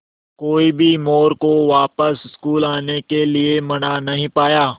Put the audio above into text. कोई भी मोरू को वापस स्कूल आने के लिये मना नहीं पाया